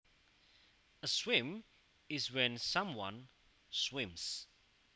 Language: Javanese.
A swim is when someone swims